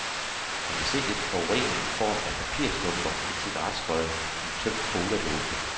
Man kan se lidt forurening i form af papirstumper, et cigaretskod, en tømt coladåse.